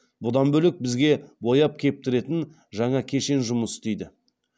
бұдан бөлек бізге бояп кептіретін жаңа кешен жұмыс істейді